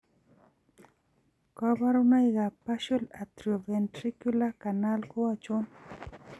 Kabarunoik ab partial atrioventricular canal ko achon?